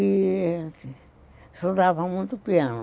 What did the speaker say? e estudava muito piano.